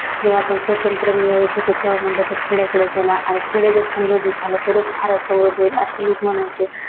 जेव्हा आपण स्वातंत्र्य मिळवत होतो तेव्हा म्हटलं तर खेड्याकडे चला आहे खेडे जर झाले तरच भारत होईल अशे लोक म्हणायचे.